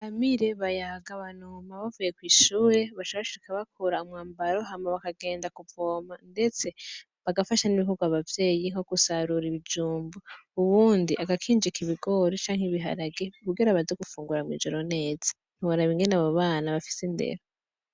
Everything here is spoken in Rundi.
BAMIRE, BAYAGA BUNAME bavuye kwishure baca bashika bakura umwambaro hama bakagenda kuvoma ndetse bagafasha n'ibikorwa abavyeyi nkogusarura ibijumbu uwundi agakinjika ibigori canke ibiharage kugira baze gufungura mwijoro neza ntiworaba ingene abo bana bafise indero.